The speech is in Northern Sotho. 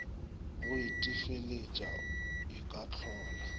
go itefeletša e ka hlola